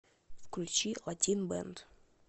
включи латин бэнд